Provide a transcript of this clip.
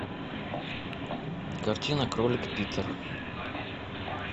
картина кролик питер